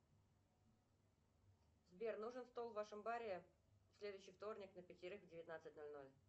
сбер нужен стол в вашем баре в следующий вторник на пятерых в девятнадцать ноль ноль